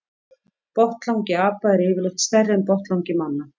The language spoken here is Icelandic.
Botnlangi apa er yfirleitt stærri en botnlangi manna.